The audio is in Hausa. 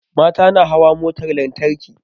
Mata na hawa motar lantarki